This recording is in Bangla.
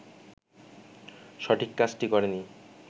সঠিক কাজটি করেনি